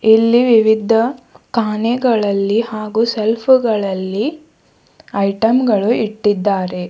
ಇಲ್ಲಿ ವಿವಿದ್ದ ಕಾಣೆಗಳಲ್ಲಿ ಹಾಗು ಸೆಲ್ಫುಗಳಲ್ಲಿ ಐಟಮ್ಗಳು ಇಟ್ಟಿದ್ದಾರೆ.